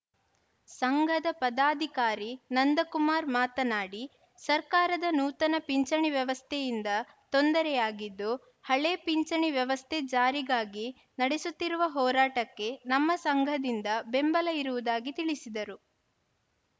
ಸಂಘದ ಪದಾಧಿಕಾರಿ ನಂದಕುಮಾರ್‌ ಮಾತನಾಡಿ ಸರ್ಕಾರದ ನೂತನ ಪಿಂಚಣಿ ವ್ಯವಸ್ಥೆಯಿಂದ ತೊಂದರೆಯಾಗಿದ್ದು ಹಳೆ ಪಿಂಚಣಿ ವ್ಯವಸ್ಥೆ ಜಾರಿಗಾಗಿ ನಡೆಸುತ್ತಿರುವ ಹೋರಾಟಕ್ಕೆ ನಮ್ಮ ಸಂಘದಿಂದ ಬೆಂಬಲ ಇರುವುದಾಗಿ ತಿಳಿಸಿದರು